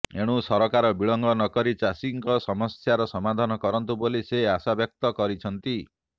ଏଣୁ ସରକାର ବିଳମ୍ବ ନ କରି ଚାଷୀଙ୍କ ସମସ୍ୟାର ସମାଧାନ କରନ୍ତୁ ବୋଲି ସେ ଆଶାବ୍ୟକ୍ତ କରିଛନ୍ତି